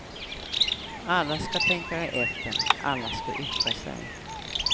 Alla ska tänka efter, alla ska yttra sig.